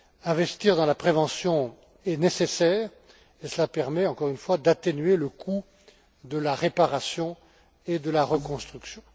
Investir dans la prévention est nécessaire, et cela permet, encore une fois, d'atténuer le coût de la réparation et de la reconstruction.